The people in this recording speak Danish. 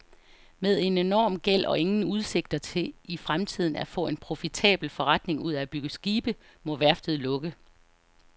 Med en enorm gæld og ingen udsigter til i fremtiden at få en profitabel forretning ud af at bygge skibe, må værftet lukke.